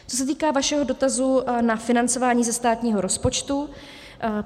Co se týká vašeho dotazu na financování ze státního rozpočtu.